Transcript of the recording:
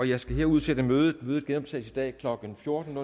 jeg skal her udsætte mødet mødet genoptages i dag klokken fjorten